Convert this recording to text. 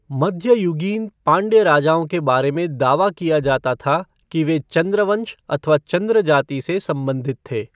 मध्ययुगीन पाँड्य राजाओं के बारे में दावा किया जाता था कि वे चँद्र वंश अथवा चँद्र जाति से संबंधित थे।